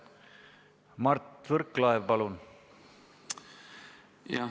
Mart Võrklaev, palun!